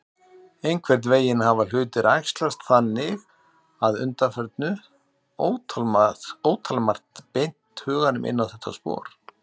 Einhvern veginn hafa hlutir æxlast þannig að undanförnu, ótalmargt beint huganum inn á þetta spor.